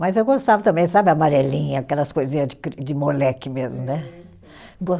Mas eu gostava também, sabe, amarelinha, aquelas coisinha de cri, de moleque mesmo, né?